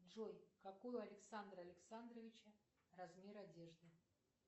джой какой у александра александровича размер одежды